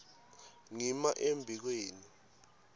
ngima embi kwenu